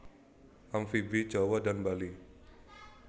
Amfibi Jawa dan Bali